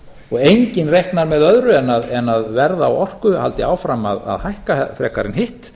og enginn reiknað með öðru en að verð á orku haldi áfram að hækka frekar en hitt